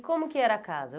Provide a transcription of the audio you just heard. E como que era a casa?